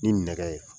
Ni nɛgɛ ye